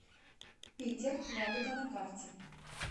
питер радуга на карте